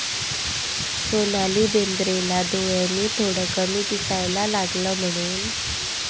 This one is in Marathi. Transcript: सोनाली बेंद्रेला डोळ्यांनी थोडं कमी दिसायला लागलं म्हणून...